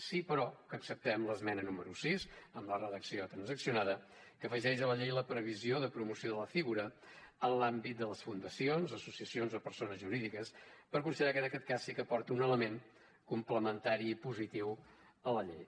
sí però que acceptem l’esmena número sis amb la redacció transaccionada que afegeix a la llei la previsió de promoció de la figura en l’àmbit de les fundacions associacions o persones jurídiques perquè considerem que en aquest cas sí que aporta un element complementari i positiu a la llei